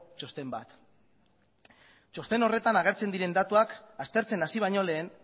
txosten bat txosten horretan agertzen diren datuak aztertzen hasi baino lehen